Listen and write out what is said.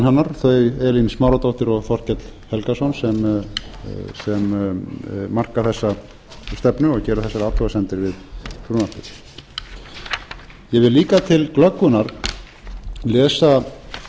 hennar þau elín smáradóttir og þorkell helgason sem marka þessa stefnu og gera þessar athugasemdir við frumvarpið ég vil líka til glöggvunar lesa